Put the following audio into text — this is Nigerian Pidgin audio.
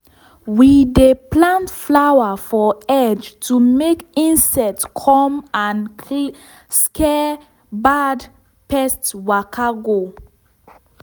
we dey plant flower for edge to make insect come and [?.] scare bad pest waka go.